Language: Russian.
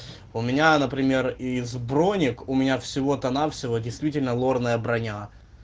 у меня например из бранник у меня всего-то навсего действительно лорная броня